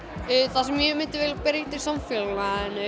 það sem ég myndi vilja breyta í samfélaginu